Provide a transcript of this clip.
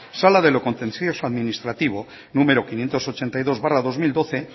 sala de lo contencioso administrativo número quinientos ochenta y dos barra dos mil doce